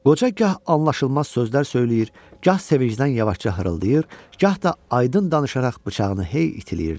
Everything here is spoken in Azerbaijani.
Qoca gah anlaşılmaz sözlər söyləyir, gah sevincdən yavaşca xırıldayır, gah da aydın danışaraq bıçağını hey itiləyirdi.